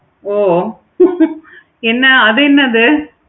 ஓ என்ன அது என்னது?